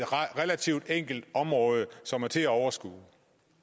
relativt enkelt område som er til at overskue